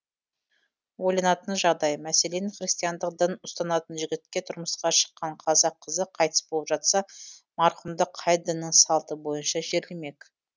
ойланатын жағдай мәселен христиандық дін ұстанатын жігітке тұрмысқа шыққан қазақ қызы қайтыс болып жатса марқұмды қай діннің салты бойынша жерлемек